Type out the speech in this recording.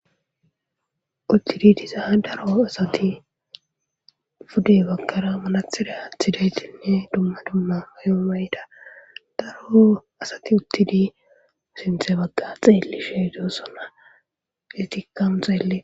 Uttidi dizaa daro asati pude bagkara malathiraathidaytinne dumma dumma ayomayta daro asati uttidi usinthe bagga xeelli sheedosona getikkamu xeelle.